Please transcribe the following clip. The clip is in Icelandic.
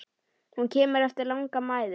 Hún kemur eftir langa mæðu.